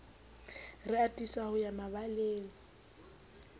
re atisa ho ya mabaleng